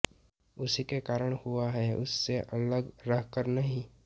उसी के कारण हुआ है उससे अलग रहकर नहीं